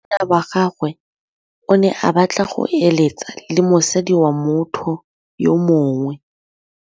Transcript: Monna wa gagwe o ne a batla go êlêtsa le mosadi wa motho yo mongwe.